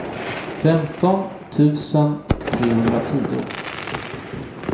femton tusen trehundratio